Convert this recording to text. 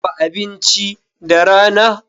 Dafa abinci da rana.